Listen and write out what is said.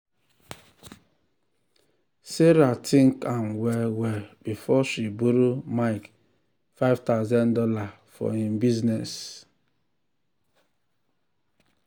sarah think am well well before she borrow mike five thousand dollars for im business.